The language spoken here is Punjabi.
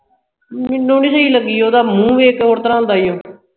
ਮੈਨੂੰ ਨਹੀਂ ਸਹੀ ਲੱਗੀ ਉਹ ਉਦਾ ਮੂੰਹ ਵੇਖ ਕੇ ਹੋਰ ਤਰ੍ਹਾਂ ਹੁੰਦਾ ਹੀ ਊ